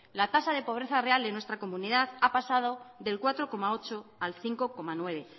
la tasa de pobreza real en nuestra comunidad ha pasado del cuatro coma ocho al cinco coma nueve